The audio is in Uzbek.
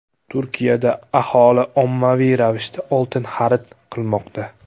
Turkiyada aholi ommaviy ravishda oltin xarid qilmoqda.